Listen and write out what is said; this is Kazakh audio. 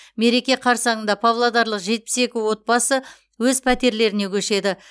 мереке қарсаңында павлодарлық жетпіс екі отбасы өз пәтерлеріне көшеді